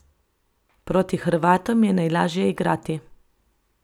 Proti Hrvatom je najlažje igrati.